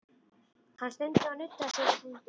Hann stundi og nuddaði sér við sængina.